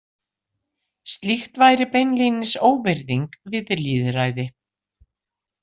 Slíkt væri beinlínis óvirðing við lýðræði.